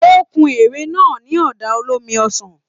O kún ère náà ní ọ̀dà olómi ọsàn.